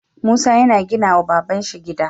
Musa yana gina wa babanshi gida